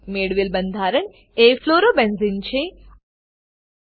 મેળવેલ બંધારણ એ ફ્લોરોબેન્ઝને ફ્લોરોબેન્ઝીન છે